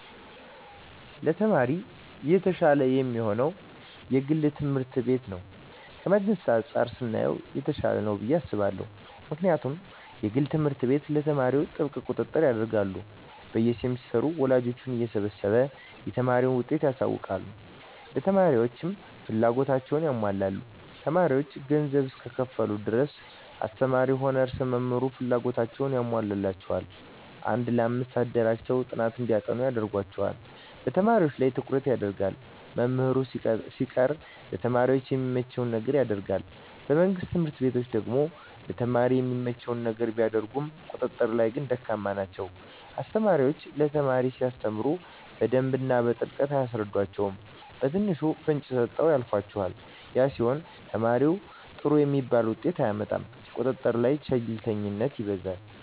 ለተማሪ የተሻለ የሚሆነዉ የግል ትምህርት ቤት ነዉ ከመንግስት አንፃር ስናየዉ የተሻለ ነዉ ብየ አስባለሁ ምክንያቱም የግል ትምህርት ቤት ለተማሪዎች ጥብቅ ቁጥጥር ያደርጋሉ በየ ሴምስተሩ ወላጆችን እየሰበሰቡ የተማሪን ዉጤት ያሳዉቃሉ ለተማሪዎችም ፍላጎታቸዉን ያሟላሉ ተማሪዎች ገንዘብ እስከከፈሉ ድረስ አስተማሪዉም ሆነ ርዕሰ መምህሩ ፍላጎታቸዉን ያሟሉላቸዋል አንድ ለአምስት አደራጅተዉ ጥናት እንዲያጠኑ ያደርጓቸዋል በተማሪዎች ላይ ትኩረት ይደረጋል መምህር ሲቀጠር ለተማሪ የሚመቸዉን ነገር ያደርጋል በመንግስት ትምህርት ቤቶች ደግሞ ለተማሪ የሚመቸዉን ነገር ቢያደርጉም ቁጥጥር ላይ ግን ደካማ ናቸዉ አስተማሪዎች ለተማሪ ሲያስተምሩ በደንብ በጥልቀት አያስረዷቸዉም በትንሹ ፍንጭ ሰጥተዉ ያልፏቸዋል ያ ሲሆን ተማሪዉ ጥሩ የሚባል ዉጤት አያመጣም ቁጥጥር ላይ ቸልተኝነት ይበዛል